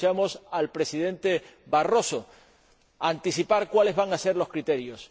ya escuchamos al Presidente Barroso anticipar cuáles van a ser los criterios.